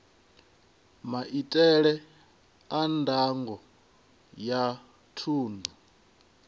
maitele a ndango ya thundu